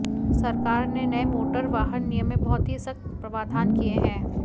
सरकार ने नए मोटर वाहन नियम में बहुत ही सख्त प्रवाधान किए हैं